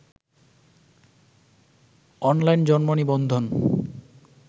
online জন্ম নিবন্ধন